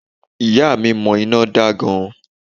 Ìyá à mi mo iná da gan